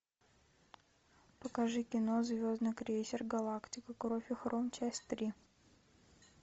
покажи кино звездный крейсер галактика кровь и хром часть три